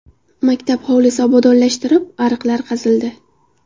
Maktab hovlisi obodonlashtirib, ariqlar qazildi.